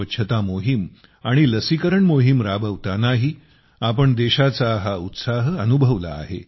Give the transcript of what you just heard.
स्वच्छता मोहिम आणि लसीकरण मोहिम राबवतानाही आपण देशाचा हा उत्साह अनुभवला आहे